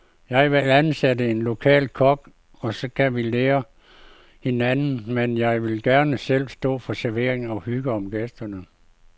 Jeg vil ansætte en lokal kok, og så kan vi lære af hinanden, men jeg vil gerne selv stå for servering og hygge om gæsterne.